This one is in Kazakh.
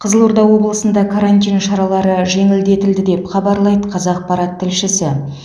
қызылорда облысында карантин шаралары жеңілдетілді деп хабарлайды қазақпарат тілшісі